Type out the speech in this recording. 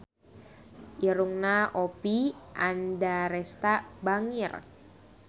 Irungna Oppie Andaresta bangir